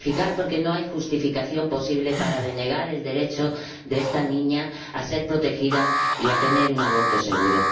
porque no hay justificación posible para denegar el derecho de esta niña a ser protegida y a tener un aborto seguro.